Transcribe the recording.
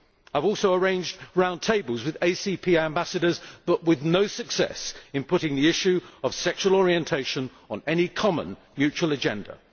I have also arranged round tables with ACP ambassadors, but I have had no success in putting the issue of sexual orientation on any common mutual agenda.